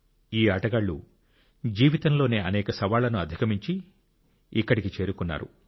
ఈ ఆటగాళ్ళు జీవితంలోని అనేక సవాళ్లను అధిగమించి ఇక్కడికి చేరుకున్నారు